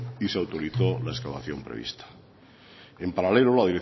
y se autorizó la excavación prevista en paralelo la